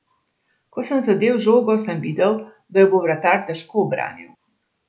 Ko sem zadel žogo, sem videl, da jo bo vratar težko ubranil.